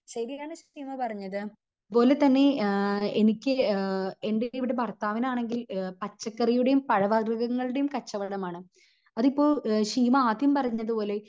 ശെരിയാണ് ശീമ പറഞ്ഞത് അതുപോലെതന്നെ ആഹ് എനിക്ക് ആഹ് എൻ്റെ ഇവിടെ ഭർത്താവിന് ആണെങ്കി പച്ചക്കറിയുടേം പഴവർഗങ്ങളുടേം കച്ചവടം ആണ്. അതിപ്പോ ശീമ ആദ്യം പറഞ്ഞത് പോലെ